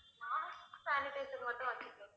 mask, sanitizer மட்டும் வச்சுருப்பேன்